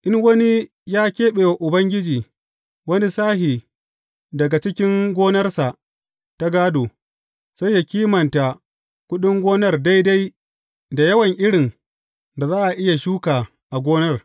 In wani ya keɓe wa Ubangiji wani sashe daga cikin gonarsa ta gādo, sai yă kimanta kuɗin gonar daidai da yawan irin da za a iya shuka a gonar.